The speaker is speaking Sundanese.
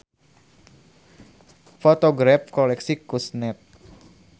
Fotograf koleksi Kusnet.